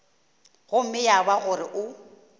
gomme ya ba gore o